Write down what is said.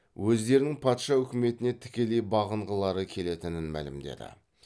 өздерінің патша өкіметіне тікелей бағынғылары келетінін мәлімдеді